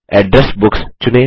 address books चुनें